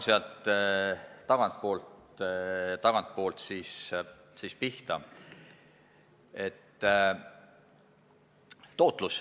Ma hakkan tagantpoolt pihta.